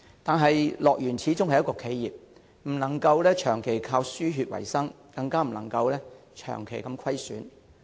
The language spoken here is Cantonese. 可是，樂園始終是企業，不能長期靠"輸血"維生，更不能長期出現虧損。